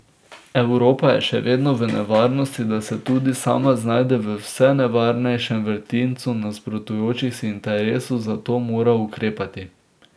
Evropa je še vedno v nevarnosti, da se tudi sama znajde v vse nevarnejšem vrtincu nasprotujočih si interesov, zato mora ukrepati.